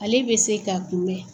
Ale bɛ se ka kun bɛ!